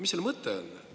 Mis selle mõte on?